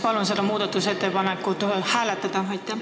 Palun seda muudatusettepanekut hääletada!